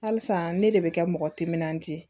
Halisa ne de bɛ kɛ mɔgɔ timinandiya ye